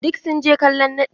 Duk sun je kallon naɗi.